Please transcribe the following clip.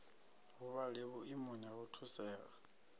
huvhale vhuimoni ha u thusea